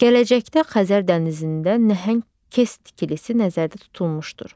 Gələcəkdə Xəzər dənizində nəhəng KES tikilisi nəzərdə tutulmuşdur.